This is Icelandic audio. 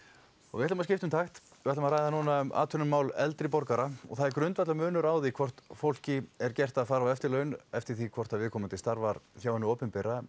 við ætlum að skipta um takt við ætlum að ræða núna um atvinnumál eldri borgara og það er grundvallarmunur á því hvort fólki er gert að fara á eftirlaun eftir því hvort viðkomandi starfar hjá hinu opinbera